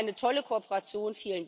Es war eine tolle Kooperation.